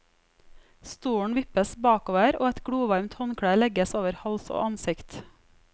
Stolen vippes bakover og et glovarmt håndkle legges over hals og ansikt.